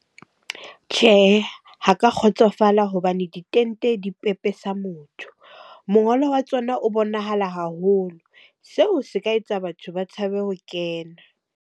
Tjhehe, ha ke a kgotsofala hobane ditente dipepesa motho. Mongolo wa tsona o bonahala haholo. Seo se ka etsa batho ba tshabe ho kena.